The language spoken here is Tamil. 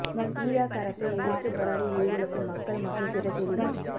இராக் அரசை எதிர்த்து போராடி உயிரிழக்கும் மக்கள் மற்றும் பிற செய்திகள்